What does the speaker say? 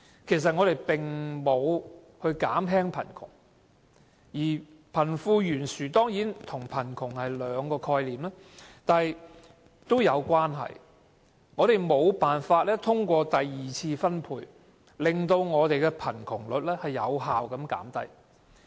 貧富懸殊與貧窮固然是兩種不同的概念，但卻互有關連，只是我們無法通過第二次財富分配，令貧窮率有效減低。